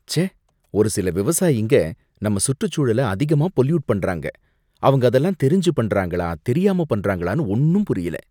ச்சே! ஒரு சில விவசாயிங்க நம்ம சுற்றுச்சூழல அதிகமா பொல்யூட் பண்றாங்க, அவங்க அதெல்லாம் தெரிஞ்சு பண்றாங்களா தெரியாம பண்றாங்களானு ஒன்னும் புரியல